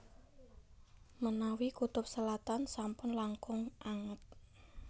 Menawi kutub selatan sampun langkung anget